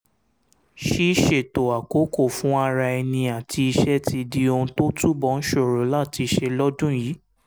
ṣíṣètò àkókò fún ara ẹni àti iṣẹ́ ti di ohun tó túbọ̀ ń ṣòro láti ṣe lọ́dún yìí